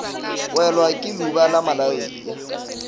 welwa ke leuba la malaria